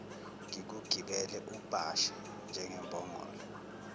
ngikugibele ubhashe njengembongolo